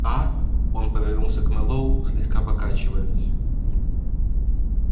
аа он повернулся к мэллоу слегка покачиваясь